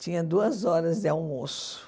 Tinha duas horas de almoço.